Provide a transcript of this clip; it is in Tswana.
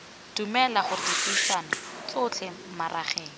dumela gore dipuisano tsotlhe magareng